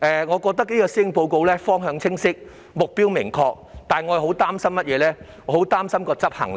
我認為這份施政報告方向清晰、目標明確，但我很擔心的是執行力。